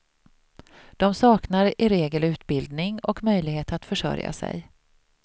De saknar i regel utbildning och möjlighet att försörja sig.